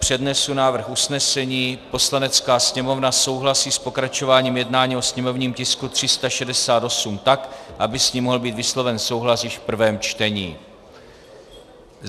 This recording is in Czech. Přednesu návrh usnesení: "Poslanecká sněmovna souhlasí s pokračováním jednání o sněmovním tisku 368 tak, aby s ním mohl být vysloven souhlas již v prvém čtení."